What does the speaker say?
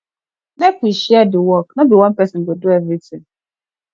make we share di work no be one pesin go do everytin